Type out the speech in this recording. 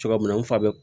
Cogo min na n fa bɛ